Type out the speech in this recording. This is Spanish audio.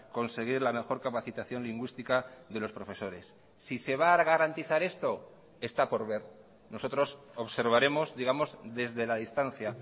conseguir la mejor capacitación lingüística de los profesores si se va a garantizar esto está por ver nosotros observaremos digamos desde la distancia